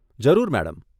જરૂર મેડમ.